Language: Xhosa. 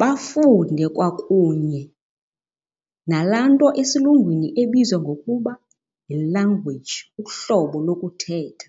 Bafunde kwakunye nalaa nto esilungwini ebizwa ngokuba yi-language uhlobo lokuthetha.